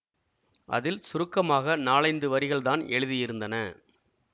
அதில் சுருக்கமாக நாலைந்து வரிகள்தான் எழுதியிருந்தன